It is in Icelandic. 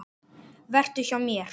Vertu hjá mér.